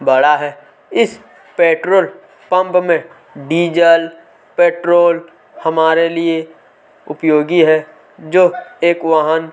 बड़ा है इस पेट्रोल पंप में डीजल पेट्रोल हमारे लिए उपयोगी है जो एक वाहन --